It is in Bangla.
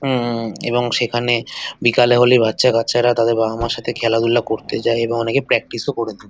উম এবং সেখানে বিকেল হলেই বাচ্ছাগাচ্ছা তাদের বাবামার সাথে খেলাধুলা করতে যায় এবং অনেকে প্র্যাকটিসও করে।